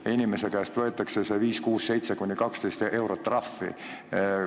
Ja inimese käest võetakse see 5, 6, 7 kuni 12 eurot trahvi.